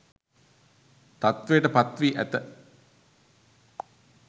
තත්ත්වයට පත් වී ඇත